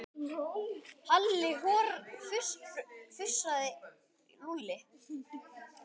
Halli hor fussaði Lúlli.